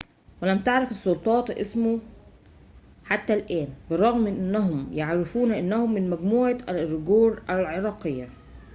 ولم تعرف السلطات اسمه حتى الآن بالرغم من أنهم يعرفون أنه من مجموعة الإيغور العرقية